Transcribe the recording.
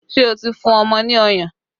Ṣé o ti fún ọmọ ní ọyàn?